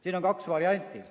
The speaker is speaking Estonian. Siin on kaks varianti.